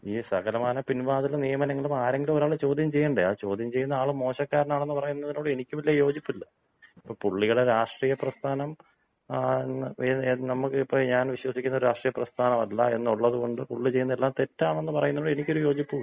ഈ സകലമാന പിൻവാതിൽ നിയമനങ്ങളും ആരെങ്കിലും ഒരാൾ ചോദ്യം ചെയ്യണ്ടേ? ആ ചോദ്യം ചെയ്യുന്ന ആൾ മോശക്കാരനാണെന്ന് പറയുന്നതിനോട് എനിക്ക് വലിയ യോജിപ്പില്ല. ഇപ്പോൾ പുള്ളിയുടെ രാഷ്ട്രീയ പ്രസ്ഥാനം ങ്ങാ ഏത് ഏത് നമുക്ക് ഇപ്പൊ ഞാൻ വിശ്വസിക്കുന്ന രാഷ്ട്രീയ പ്രസ്ഥാനം അല്ല എന്നൊള്ളത്കൊണ്ട് പുള്ളി ചെയ്യുന്നത് എല്ലാം തെറ്റാണ് എന്ന് പറയുന്നതിനോട് എനിക്ക് ഒരു യോജിപ്പുമില്ല.